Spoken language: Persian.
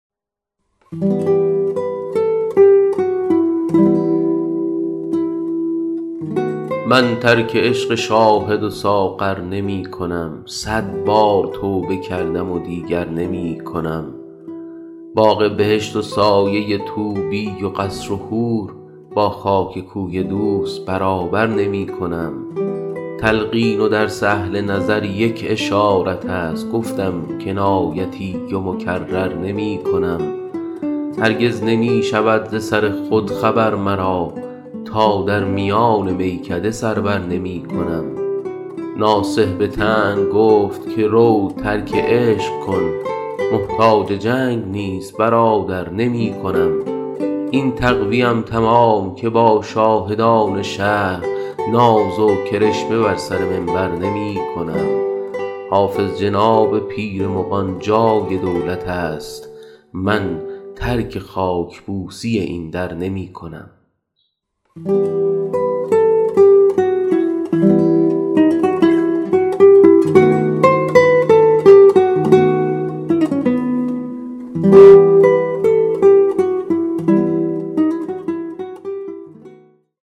من ترک عشق شاهد و ساغر نمی کنم صد بار توبه کردم و دیگر نمی کنم باغ بهشت و سایه طوبی و قصر و حور با خاک کوی دوست برابر نمی کنم تلقین و درس اهل نظر یک اشارت است گفتم کنایتی و مکرر نمی کنم هرگز نمی شود ز سر خود خبر مرا تا در میان میکده سر بر نمی کنم ناصح به طعن گفت که رو ترک عشق کن محتاج جنگ نیست برادر نمی کنم این تقوی ام تمام که با شاهدان شهر ناز و کرشمه بر سر منبر نمی کنم حافظ جناب پیر مغان جای دولت است من ترک خاک بوسی این در نمی کنم